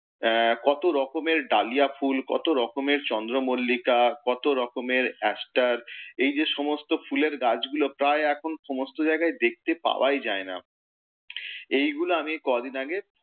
আহ কত রকমের ডালিয়া ফুল, কত রকমের চন্দ্রমল্লিকা, কত রকমের aster এই যে সমস্ত ফুলের গাছগুলো প্রায় এখন সমস্ত জায়গায় দেখতে পাওয়াই যায় না। এই গুলো আমি কদিন আগে